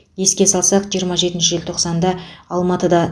еске салсақ жиырма жетінші желтоқсанда алматыда